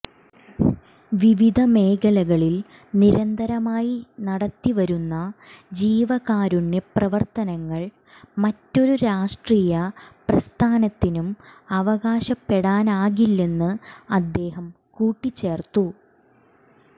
വിവിധ മേഖലകളിൽ നിരന്തരമായി നടത്തി വരുന്ന ജീവകാരുണ്യ പ്രവർത്തനങ്ങൾ മറ്റൊരു രാഷ്ട്രീയ പ്രസ്ഥാനത്തിനും അവകാശപ്പെടാനാകില്ലെന്ന് അദ്ധേഹം കൂട്ടിചേർത്തു